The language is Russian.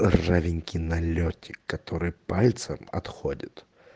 ржавенький налётик который пальцом отходит